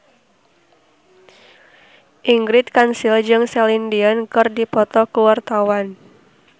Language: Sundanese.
Ingrid Kansil jeung Celine Dion keur dipoto ku wartawan